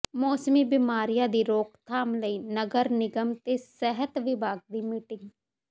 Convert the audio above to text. ਮੌਸਮੀ ਬਿਮਾਰੀਆਂ ਦੀ ਰੋਕਥਾਮ ਲਈ ਨਗਰ ਨਿਗਮ ਤੇ ਸਿਹਤ ਵਿਭਾਗ ਦੀ ਮੀਟਿੰਗ